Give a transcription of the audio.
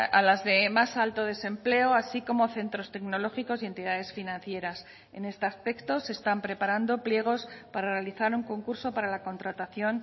a las de más alto desempleo así como centros tecnológicos y entidades financieras en este aspecto se están preparando pliegos para realizar un concurso para la contratación